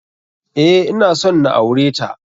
Eh, ina son na aure ta.